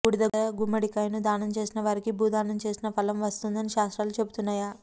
బూడిదగుమ్మడికాయను దానంచేసిన వారికి భూదానం చేసిన ఫలం వస్తుందని శాస్త్రాలు చెబుతున్నాయ